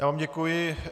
Já vám děkuji.